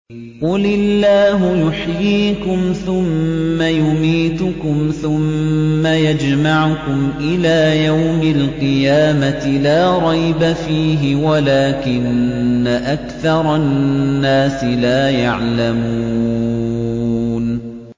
قُلِ اللَّهُ يُحْيِيكُمْ ثُمَّ يُمِيتُكُمْ ثُمَّ يَجْمَعُكُمْ إِلَىٰ يَوْمِ الْقِيَامَةِ لَا رَيْبَ فِيهِ وَلَٰكِنَّ أَكْثَرَ النَّاسِ لَا يَعْلَمُونَ